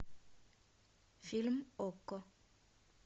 фильм окко